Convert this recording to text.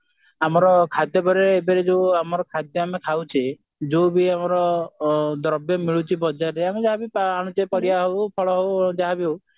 ଆମର ଖାଦ୍ୟ ପେୟ ରେ ଏବେରେ ଯୋଉ ଖାଦ୍ୟ ଆମେ ଖାଉଛେ ଯୋଉ ବି ଆମର ଦ୍ରବ୍ୟ ମିଳୁଛି ବଜାରରେ ଆମେ ଯାହା ବି ଅନୁଛେ ପରିବା ହଉ ଫଳ ହଉ ଯାହା ବି ହଉ